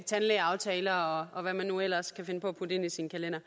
tandlægeaftaler og hvad man nu ellers kan finde på at putte ind i sin kalender